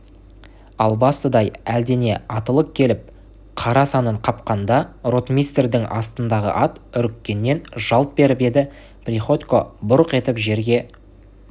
албастыдай әлдене атылып келіп қара санын қапқанда ротмистрдің астындағы ат үріккеннен жалт беріп еді приходько бұрқ етіп жерге